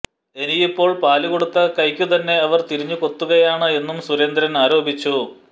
ഇന്നിപ്പോൾ പാലുകൊടുത്ത കൈക്കുതന്നെ അവർ തിരിഞ്ഞു കൊത്തുകയാണ് എന്നും സുരേന്ദ്രന് ആരോപിച്ചു